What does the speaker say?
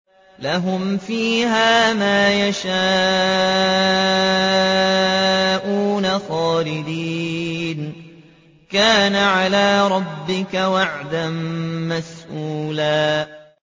لَّهُمْ فِيهَا مَا يَشَاءُونَ خَالِدِينَ ۚ كَانَ عَلَىٰ رَبِّكَ وَعْدًا مَّسْئُولًا